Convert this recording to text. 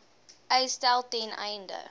uitstel ten einde